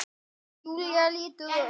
Á eftir?